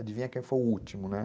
Adivinha quem foi o último, né?